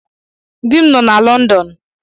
Di m nọ na Lọndọn